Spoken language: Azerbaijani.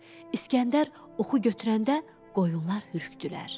İsgəndər oxu götürəndə qoyunlar hürkdülər.